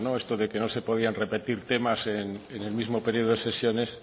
esto de que no se podían repetir temas en el mismo periodo de sesiones